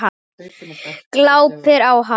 Glápir á hana.